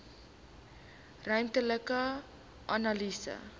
ruimtelike analise